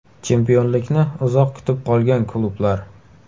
Chempionlikni uzoq kutib qolgan klublar.